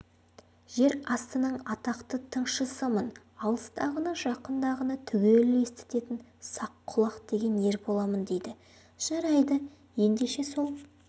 жер астының атақты тыңшысымын алыстағыны жақындағыны түгел есітетін саққұлақ деген ер боламын дейді жарайды ендеше сол